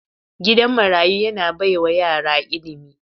Gidan marayu yana baiwa yara ilimi.